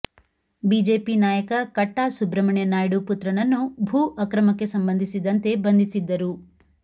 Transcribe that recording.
BJP ನಾಯಕ ಕಟ್ಟಾ ಸುಬ್ರಮಣ್ಯ ನಾಯ್ಡು ಪುತ್ರನನ್ನು ಭೂ ಅಕ್ರಮಕ್ಕೆ ಸಂಬಂಧಿಸಿದಂತೆ ಬಂಧಿಸಿದ್ದರು